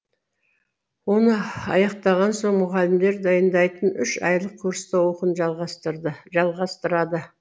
оны аяқтаған соң мұғалімдер дайындайтын үш айлық курста оқуын жалғастырады